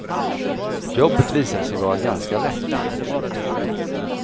Jobbet visade sig vara ganska lätt.